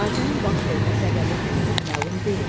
Hadisənin başvermə səbəbi hələlik məlum deyil.